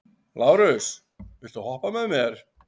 Lárus, viltu hoppa með mér?